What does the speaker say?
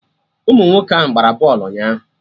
Ụmụ nwoke ahụ gbara bọlụ ụnyaahụ